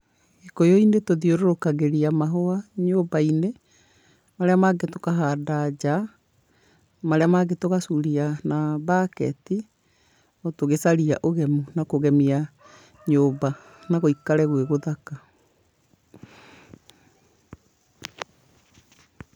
Gĩkũyũ-inĩ tũthiũrũrũkagĩria mahũa, nyũmba-inĩ, marĩa mangĩ tũkahanda nja, marĩa mangĩ tũgacuria na mbaketi, o tũgĩcaria ũgemu na kũgemia, nyũmba, na gũikare gwĩ gũthaka.